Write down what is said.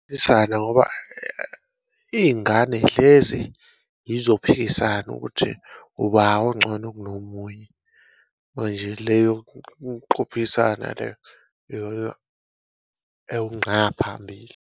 Ngoba iy'ngane y'hlezi yizophikisana ukuthi uba oncono kunomunye, manje leyo kuqophisana ewunqa phambili.